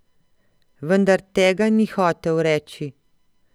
Vendar tega ni hotel reči.